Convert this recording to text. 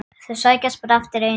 Þeir sækjast bara eftir einu.